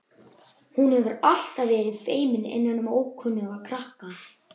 Hún hefur alltaf verið feimin innan um ókunnuga krakka.